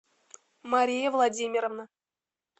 мария владимировна